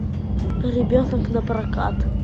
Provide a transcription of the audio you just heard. ребенок на прокат